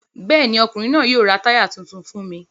Bẹ́ẹ̀ ni, ọkùnrin náà yóò ra táyà tuntun fún mi.